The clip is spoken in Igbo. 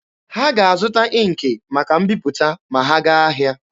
Ha ga-azụta ịnkị maka mbiputa ma ha gaa ahịa.